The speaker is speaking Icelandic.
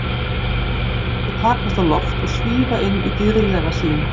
Mér fannst við takast á loft og svífa inn í dýrðlega sýn.